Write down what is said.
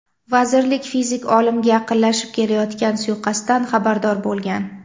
Vazirlik fizik olimga yaqinlashib kelayotgan suiqasddan xabardor bo‘lgan.